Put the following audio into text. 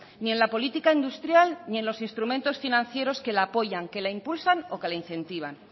ni en la política industrial ni en los instrumentos financieros que la apoyan que la impulsan o que la incentivan